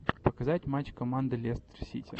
показать матч команды лестер сити